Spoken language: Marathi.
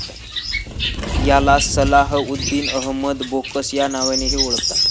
याला सलाह उद्दिन अहमद बोकस या नावानेही ओळखतात.